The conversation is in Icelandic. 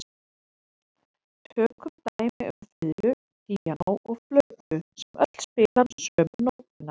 Tökum dæmi um fiðlu, píanó og flautu sem öll spila sömu nótuna.